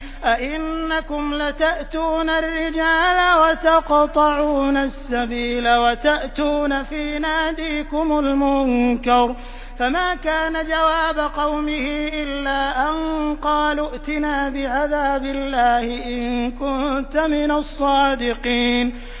أَئِنَّكُمْ لَتَأْتُونَ الرِّجَالَ وَتَقْطَعُونَ السَّبِيلَ وَتَأْتُونَ فِي نَادِيكُمُ الْمُنكَرَ ۖ فَمَا كَانَ جَوَابَ قَوْمِهِ إِلَّا أَن قَالُوا ائْتِنَا بِعَذَابِ اللَّهِ إِن كُنتَ مِنَ الصَّادِقِينَ